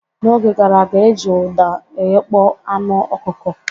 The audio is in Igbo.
N'oge gara aga e ji ụda eghekpo anụ ọkụkọ.